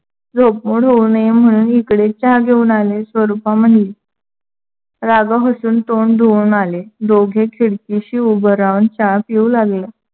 झोप उघडू नये म्हणून चहा इकडेच घेऊन आले स्वरूपा म्हणली. राघव हसून तोंड धुवून आले. दोघे खिडकीशी उभ राहून चहा पिऊ लागले.